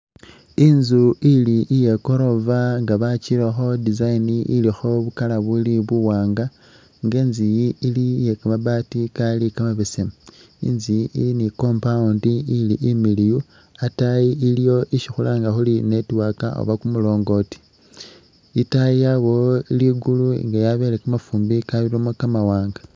Inzu ili iye goroofa nga bakirakho design ilikho bukala buli buwaanga nga inzu iyi ili iye kamabaati kali kamabesemu, inzu iyi ili ni compound ili imiliyu, ataayi iliwo isi khulanga khuri network oba kumulongooti, itaayi yabawo ligulu nga yabele kamafumbi kalibamo kamawaanga